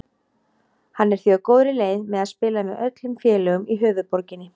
Hann er því á góðri leið með að spila með öllum félögum í höfuðborginni.